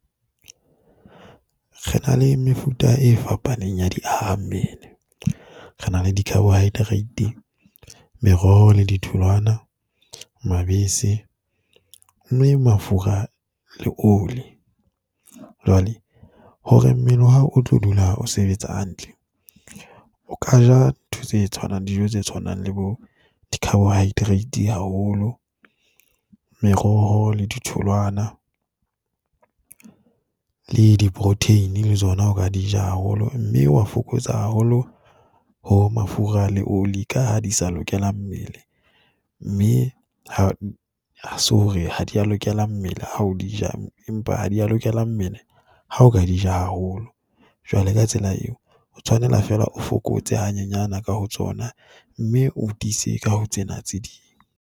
Re na le mefuta e fapaneng ya diahammele. Re na le di-carbohydrate, meroho le ditholwana. Mabese, mme mafura le oli. Jwale hore mmele wa hao o tlo dula o sebetsa hantle, o ka ja ntho tse tshwanang, dijo tse tshwanang le bo di-carbohydrate haholo, meroho le ditholwana le di-protein le tsona o ka di ja haholo mme wa fokotsa haholo ho mafura le oli, ka ha di sa lokela mmele mme ha se hore ha di a lokela mmele ha o di ja, empa ha di a lokela mmele ha o ka di ja haholo. Jwale ka tsela eo o tshwanela fela o fokotse hanyenyane ka ho tsona mme o tiise ka ho tsena tse ding.